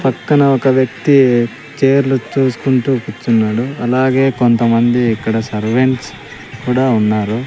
పక్కన ఒక వ్యక్తి చేర్లు చూస్కుంటూ కుర్చున్నాడు అలాగే కొంతమంది ఇక్కడ సర్వెంట్స్ కుడా ఉన్నారు.